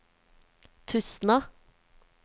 Tustna